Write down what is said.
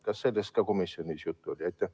Kas sellest ka komisjonis juttu oli?